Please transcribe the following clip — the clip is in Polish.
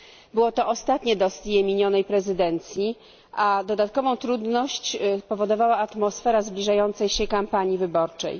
Było to ostatnie dossier minionej prezydencji, a dodatkową trudność powodowała atmosfera zbliżającej się kampanii wyborczej.